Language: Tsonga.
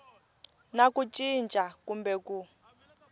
na ku cinca kumbe ku